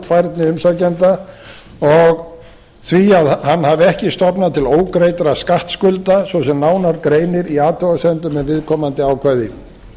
gjaldfærni umsækjanda og því að hann hafi ekki stofnað til ógreiddra skattskulda svo sem nánar greinir í athugasemdum um viðkomandi ákvæði